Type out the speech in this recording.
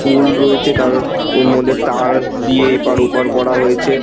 পুল রয়েছে তার এর মধ্যে তার দিয়ে এপার ওপর করা হয়েছে।